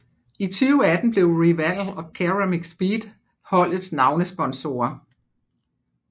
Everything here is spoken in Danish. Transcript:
I 2018 blev Riwal og CeramicSpeed holdets navnesponsorer